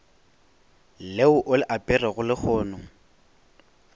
leo o le aperego lehono